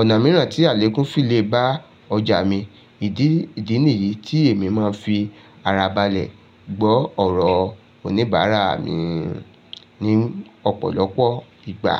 ọ̀nà mìíràn tí àlékún fi lè bá ọjà mi. Ìdí nìyí tí èmi máa ń fi ara balẹ̀ gbọ́ ọ̀rọ̀ oníbàárà mi ní ọ̀pọ̀lọpọ̀ ìgbà.